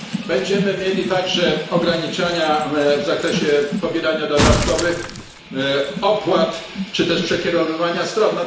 Będziemy mieli także ograniczenia w zakresie pobierania dodatkowych opłat czy też przekierowywania stron.